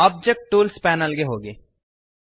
object tools panel ಗೆ ಹೋಗಿ